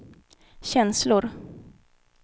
känslor